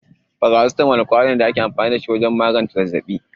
Faracetamol kwayoyi ne da ake amfani da su don magance zazzabi.